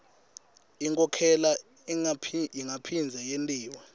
inkhokhela ingaphindze yentiwa